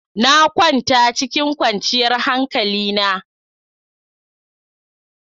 Na kwanta cikin kwanciyar hankalina.